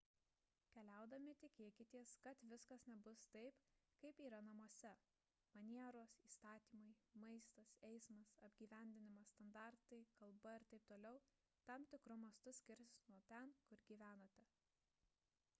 keliaudami tikėkitės kad viskas nebus taip kaip yra namuose manieros įstatymai maistas eismas apgyvendinimas standartai kalba ir t t tam tikru mastu skirsis nuo ten kur gyvenate